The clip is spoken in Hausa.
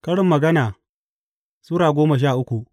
Karin Magana Sura goma sha uku